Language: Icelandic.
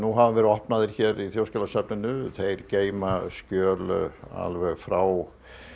hafa verið opnaðir í Þjóðskjalasafninu þeir geyma skjöl alveg frá